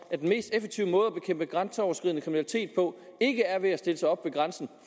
at den mest effektive måde at bekæmpe grænseoverskridende kriminalitet på ikke er ved at stille sig op ved grænsen